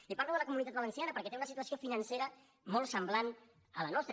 i parlo de la comunitat valenciana perquè té una situació financera molt sem·blant a la nostra